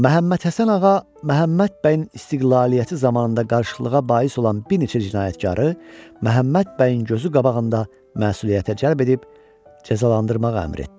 Məhəmməd Həsən ağa Məhəmməd bəyin istiqlaliyyəti zamanında qarışıqlığa bais olan bir neçə cinayətkarı Məhəmməd bəyin gözü qabağında məsuliyyətə cəlb edib cəzalandırmağa əmr etdi.